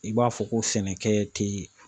I b'a fɔ ko sɛnɛkɛ tɛ